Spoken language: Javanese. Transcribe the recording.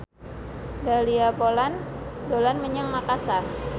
Dahlia Poland dolan menyang Makasar